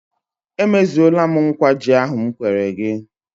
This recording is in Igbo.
E mezuole m nkwa ji ahụ m kwere gị.